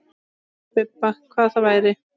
Spurði Bibba hvað það væri.